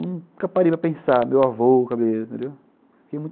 Nunca parei para pensar no meu avô cabeleireiro, entendeu?